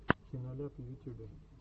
киноляп в ютюбе